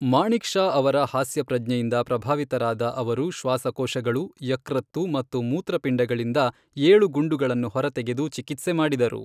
ಮಾಣೆಕ್ ಷಾ ಅವರ ಹಾಸ್ಯಪ್ರಜ್ಞೆಯಿಂದ ಪ್ರಭಾವಿತರಾದ ಅವರು ಶ್ವಾಸಕೋಶಗಳು, ಯಕೃತ್ತು ಮತ್ತು ಮೂತ್ರಪಿಂಡಗಳಿಂದ ಏಳು ಗುಂಡುಗಳನ್ನು ಹೊರತೆಗೆದು ಚಿಕಿತ್ಸೆ ಮಾಡಿದರು.